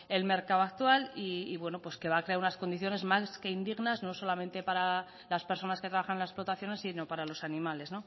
el mercado actual y que va a crear unas condiciones más que indignas no solamente para las personas que trabajan en las exportaciones sino para los animales